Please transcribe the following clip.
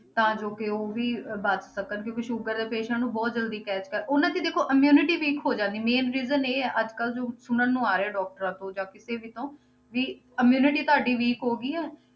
ਤਾਂ ਜੋ ਕਿ ਉਹ ਵੀ ਬਚ ਸਕਣ ਕਿਉਂਕਿ ਸ਼ੂਗਰ ਦੇ patient ਨੂੰ ਬਹੁਤ ਜ਼ਲਦੀ ਖ਼ਾਸ ਕਰ, ਉਹਨਾਂ 'ਚ ਦੇਖੋ immunity weak ਹੋ ਜਾਂਦੀ main reason ਇਹ ਹੈ ਅੱਜ ਕੱਲ੍ਹ ਜੋ ਸੁਣਨ ਨੂੰ ਆ ਰਿਹਾ doctors ਤੋਂ ਜਾਂ ਕਿਸੇ ਵੀ ਤੋਂ ਵੀ immunity ਤੁਹਾਡੀ weak ਹੋ ਗਈ ਆ,